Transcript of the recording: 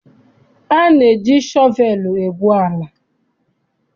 A na-eji shọvelụ egwu ala.